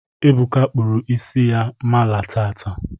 Ebuka kpụrụ isi mala taata.